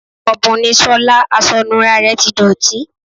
Òbùn ni Sola, aṣọ ìnura rẹ ti dọ̀tí.